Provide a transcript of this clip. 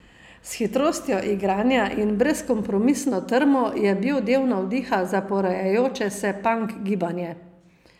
S hitrostjo igranja in brezkompromisno trmo je bil del navdiha za porajajoče se pank gibanje.